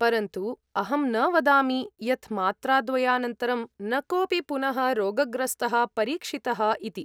परन्तु अहं न वदामि यत् मात्राद्वयानन्तरं न कोऽपि पुनः रोगग्रस्तः परीक्षितः इति।